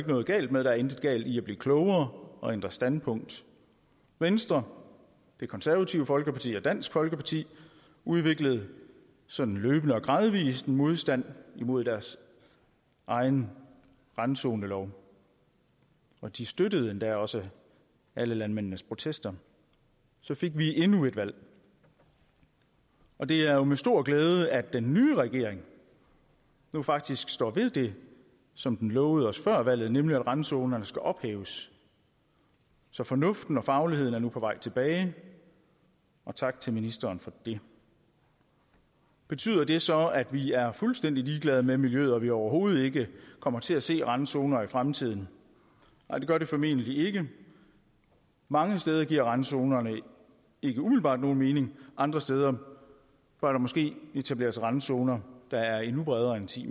noget galt med der er intet galt i at blive klogere og ændre standpunkt venstre det konservative folkeparti og dansk folkeparti udviklede sådan løbende og gradvis en modstand imod deres egen randzonelov og de støttede endda også alle landmændenes protester så fik vi endnu et valg og det er jo med stor glæde at den nye regering faktisk står ved det som den lovede os før valget nemlig at randzonerne skal ophæves så fornuften og fagligheden er nu på vej tilbage og tak til ministeren for det betyder det så at vi er fuldstændig ligeglade med miljøet og at vi overhovedet ikke kommer til at se randzoner i fremtiden nej det gør det formentlig ikke mange steder giver randzonerne ikke umiddelbart nogen mening andre steder bør der måske etableres randzoner der er endnu bredere end ti